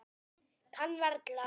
Kann varla.